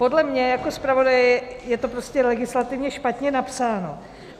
Podle mě jako zpravodaje je to prostě legislativně špatně napsáno.